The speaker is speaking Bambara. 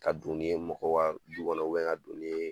Ka don n'i ye mɔgɔ ka du kɔnɔ ka don n'i ye